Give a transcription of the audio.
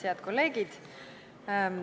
Head kolleegid!